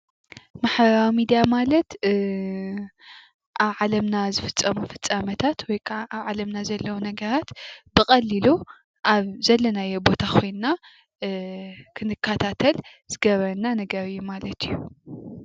ማሕበራዊ ሚድያ ማለት ኣብ ዓለምና ዝፍፀሙ ፍፃሜታት ወይ ክዓ ኣብ ዓለምና ዘለዉ ነገራት ብቀሊሉ ኣብ ዘለናዩ ቦታ ኮይና ክንከታተል ዝገብረና ነገር ማለት እዩ፡፡